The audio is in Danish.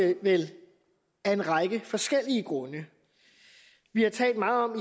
vi vel af en række forskellige grunde vi har talt meget om